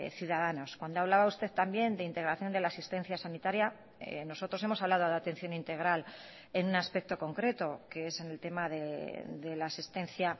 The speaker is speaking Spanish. ciudadanos cuando hablaba usted también de integración de la asistencia sanitaria nosotros hemos hablado de atención integral en un aspecto concreto que es en el tema de la asistencia